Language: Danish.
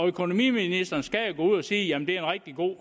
økonomiministeren skal jo gå ud og sige jamen det er en rigtig god